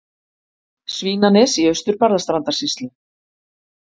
Svínanes í Austur-Barðastrandarsýslu.